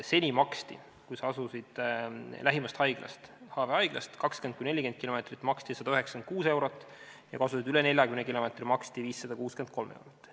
Seni maksti, kui sa asusid lähimast haiglast 20–40 kilomeetri kaugusel, 196 eurot, ja kui asusid üle 40 kilomeetri kaugusel, siis 563 eurot.